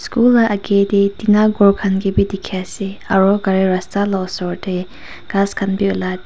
phool la agey tey tina ghor khan ke bi dikhi ase aro gari rasta la osor tey ghas khan bi ulai dikh--